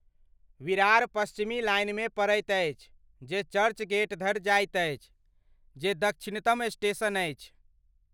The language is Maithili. विरार पश्चिमी लाइनमे पड़ैत अछि जे चर्चगेट धरि जाइत अछि, जे दक्षिणतम स्टेशन अछि।